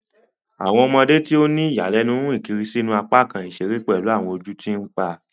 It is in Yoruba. Awọn ọmọde ti o ni iyanilenu rìn kiri sínú apakan iṣere pelu awọn ojú ti npa.